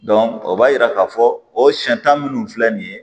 o b'a yira k'a fɔ o siyanta minnu filɛ nin ye